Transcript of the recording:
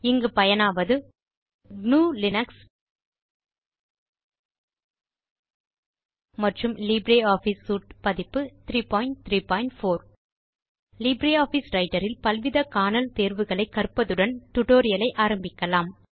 இங்கு பயனாவது gnuலினக்ஸ் மற்றும் லீப்ரே ஆஃபிஸ் சூட் பதிப்பு 334 லிப்ரியாஃபிஸ் ரைட்டர் இல் பல்வித காணல் தேர்வுகளை கற்பதுடன் டியூட்டோரியல் ஐ ஆரம்பிக்கலாம்